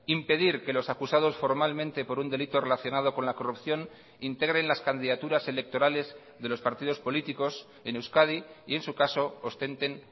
impedir que los acusados formalmente por un delito relacionado con la corrupción integren las candidaturas electorales de los partidos políticos en euskadi y en su caso ostenten